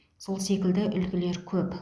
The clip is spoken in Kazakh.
сол секілді үлгілер көп